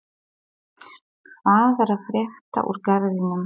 Hvað er að frétta úr Garðinum?